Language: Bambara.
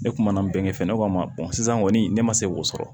Ne kumana bɛnɛ fɛn ne ko a ma sisan kɔni ne ma se k'o sɔrɔ